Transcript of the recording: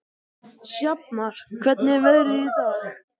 Sjafnar, hvernig er veðrið í dag?